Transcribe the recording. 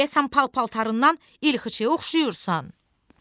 Deyəsən pal-paltarından ilxıçıya oxşayırsan.